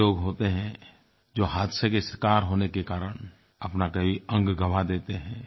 कई लोग होते हैं जो हादसे के शिकार होने के कारण अपना कोई अंग गवाँ देते हैं